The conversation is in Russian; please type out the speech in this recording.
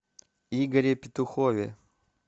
игоре петухове